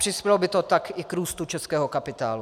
Přispělo by to tak i k růstu českého kapitálu.